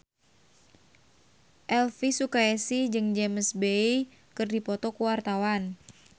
Elvi Sukaesih jeung James Bay keur dipoto ku wartawan